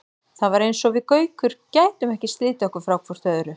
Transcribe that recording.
Það var eins og við Gaukur gætum ekki slitið okkur frá hvort öðru.